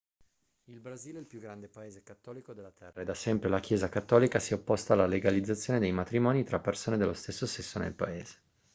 il brasile è il più grande paese cattolico della terra e da sempre la chiesa cattolica si è opposta alla legalizzazione dei matrimoni tra persone dello stesso sesso nel paese